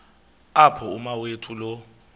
apho umawethu lo